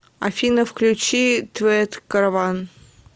афина включи твет караван